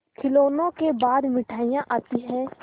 खिलौनों के बाद मिठाइयाँ आती हैं